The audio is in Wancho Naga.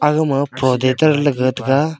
aga ma phoda cha le leh tega.